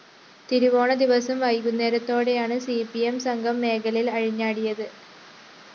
തിരുവോണദിവസം വൈകുന്നേരത്തോടെയാണ് C P M സംഘം മേഖലയില്‍ അഴിഞ്ഞാടിയത്